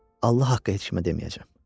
Allah haqqı heç kimə deməyəcəm.